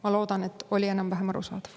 Ma loodan, et oli enam-vähem arusaadav.